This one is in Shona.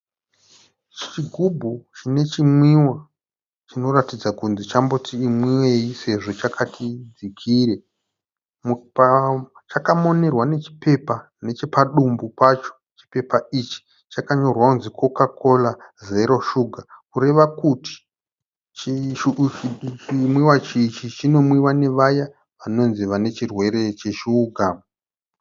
Chigubhu chinechimwiwa chinoratidza kunzi chamboti imwiwei sezvo chakati dzikire. Chakamonerwa nechipepa nechepadumbu pacho. Chipepa ichi chakanyorwa kunzi "Coca Cola Zero Sugar" kureva kuti chimwiwa ichi chinomwiwa nevaya vanonzi vanechirwere cheshuga.